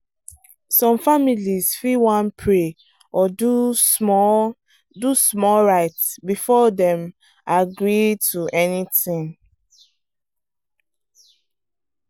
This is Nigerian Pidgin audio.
some families fit wan pray or do small do small rite before dem agree to anything.